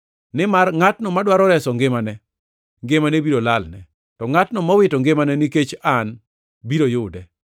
Nimar ngʼatno madwaro reso ngimane, ngimane biro lalne, to ngʼatno mowito ngimane nikech an biro yude.